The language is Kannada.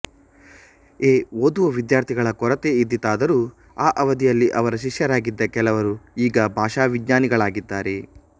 ಎ ಓದುವ ವಿದ್ಯಾರ್ಥಿಗಳ ಕೊರತೆ ಇದ್ದಿತಾದರೂ ಆ ಅವಧಿಯಲ್ಲಿ ಅವರ ಶಿಶ್ಯರಾಗಿದ್ದ ಕೆಲವರು ಈಗ ಭಾಷಾ ವಿಜ್ಞಾನಿಗಳಾಗಿದ್ದಾರೆ